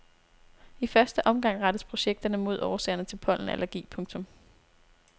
I første omgang rettes projekterne mod årsagerne til pollenallergi. punktum